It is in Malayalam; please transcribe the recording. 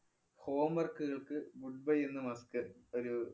homework കള്‍ക്ക് good bye എന്ന് . ഒരു